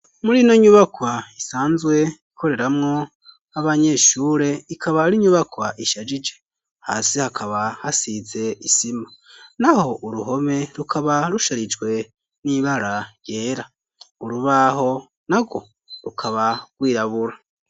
Murino nyubakwa isanzwe ikoreramwo abanyeshure ikaba arinyubakwa ishajije hasi hakaba hasize isima naho uruhome rukaba rusharijwe n'ibara ryera urubaho narwo rukaba rwirabura.